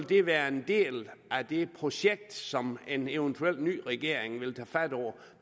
det være en del af det projekt som en eventuel ny regering vil tage fat på